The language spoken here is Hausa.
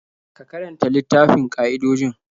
Ka karanta littafin ƙa'idojin?